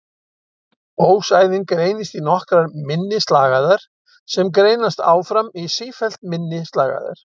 Ósæðin greinist í nokkrar minni slagæðar sem greinast áfram í sífellt minni slagæðar.